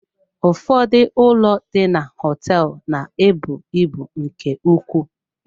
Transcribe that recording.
Ụfọdụ ụlọ ndina hoteelu na-ebu ibu nke ukwuu.